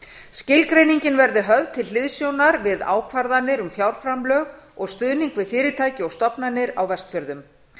skilgreiningin verði höfð til hliðsjónar við ákvarðanir um fjárframlög og stuðning við fyrirtæki og stofnanir á vestfjörðum